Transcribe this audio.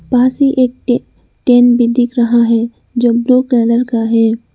पास ही एक tent tent भी दिख रहा है जो ब्लू कलर का है।